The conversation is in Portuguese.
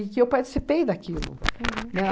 E que eu participei daquilo, né?